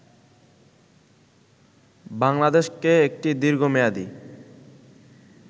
বাংলাদেশকে একটি দীর্ঘমেয়াদী